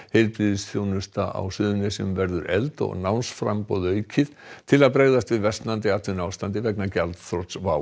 heilbrigðisþjónusta á Suðurnesjum verður efld og námsframboð aukið til að bregðast við versnandi atvinnuástandi vegna gjaldþrots WOW